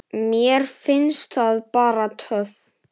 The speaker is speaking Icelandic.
Mér finnst það bara töff.